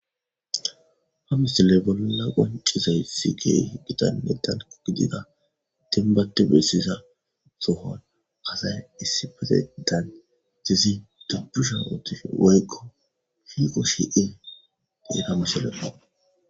Hamisile bolona qoncizay si gey gitan metano gidida tinbatte bessiza sohon asay issi patedan dezi dubbusha uttife woykko hiiqo shie deeta misheleo.